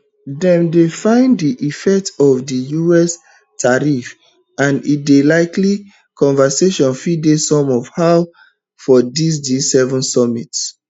dem dey feel di effect of di us tariffs and e dey likely say conversation fit dey some how for dis gseven summit